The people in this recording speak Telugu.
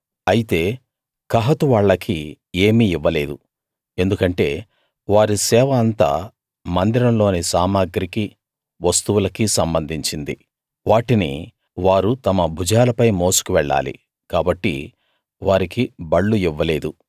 అయితే కహాతు వాళ్లకి ఏమీ ఇవ్వలేదు ఎందుకంటే వారి సేవ అంతా మందిరంలోని సామగ్రికీ వస్తువులకీ సంబంధించింది వాటిని వారు తమ భుజాలపై మోసుకు వెళ్ళాలి కాబట్టి వారికి బళ్ళు ఇవ్వలేదు